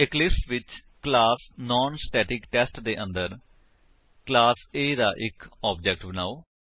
Eclipse ਵਿੱਚ class non static test ਦੇ ਅੰਦਰ ਕਲਾਸ A ਦਾ ਇੱਕ ਆਬਜੇਕਟ ਬਨਾਓ